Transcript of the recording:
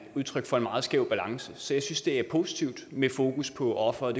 udtryk for en meget skæv balance så jeg synes det er positivt med fokus på offeret